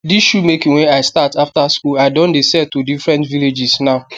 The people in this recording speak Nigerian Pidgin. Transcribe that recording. dis shoe making wey i start after school i don de sell to different villages now